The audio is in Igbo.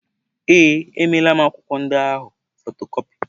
Ee, emeela m akwụkwọ ndị ahụ fotokọpi.